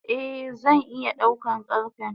Eh zan iya daukan karfe.